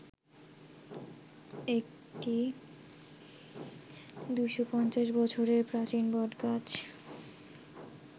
একটি ২৫০ বছরের প্রাচীন বটগাছ